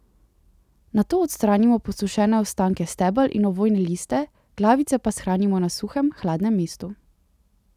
Nato odstranimo posušene ostanke stebel in ovojne liste, glavice pa shranimo na suhem, hladnem mestu.